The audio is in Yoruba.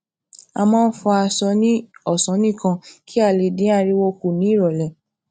a máa ń fọ aṣọ ní òsán nìkan kí a lè dín ariwo kù ní ìrọlẹ